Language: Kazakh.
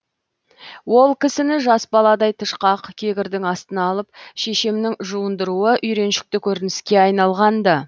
ол кісіні жас баладай тышқақ кегірдің астына алып шешемнің жуындыруы үйреншікті көрініске айналғанды